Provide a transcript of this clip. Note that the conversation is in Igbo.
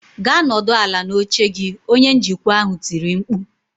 "Gaa nọdụ ala n'oche gị" Onye njikwa ahụ tiri mkpu